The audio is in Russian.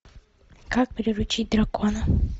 как приручить дракона